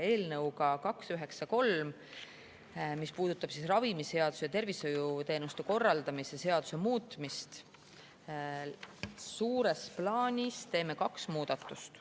Eelnõuga 293, mis puudutab ravimiseaduse ja tervishoiuteenuste korraldamise seaduse muutmist, teeme suures plaanis kaks muudatust.